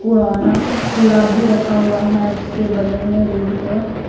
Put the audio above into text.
पुराना कूड़ा भी रखा हुआ है उसके बगल में रोड पे।